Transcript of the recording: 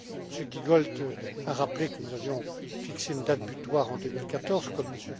M. Giegold a rappelé que nous avions fixé une date butoir en 2014, comme